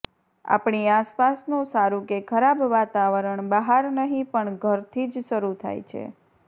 આપણી આસપાસનું સારું કે ખરાબ વાતાવરણ બહાર નહીં પણ ઘરથી જ શરુ થાય છે